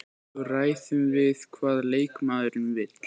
Svo ræðum við hvað leikmaðurinn vill.